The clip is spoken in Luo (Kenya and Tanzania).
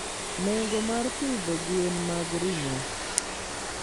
Nengo mar pidho gwen mag ring'o.